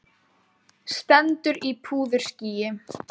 Stendur í púðurskýi.